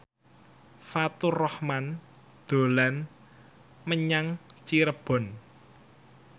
Faturrahman dolan menyang Cirebon